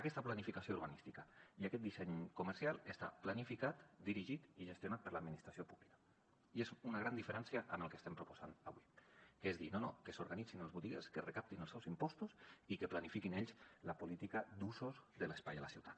aquesta planificació urbanística i aquest disseny comercial estan planificats dirigits i gestionats per l’administració pública i és una gran diferència amb el que estem proposant avui que és dir no no que s’organitzin els botiguers que recaptin els seus impostos i que planifiquin ells la política d’usos de l’espai a la ciutat